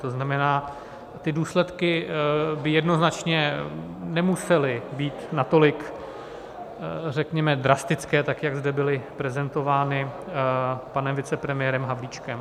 To znamená, ty důsledky by jednoznačně nemusely být natolik, řekněme, drastické, tak jak zde byly prezentovány panem vicepremiérem Havlíčkem.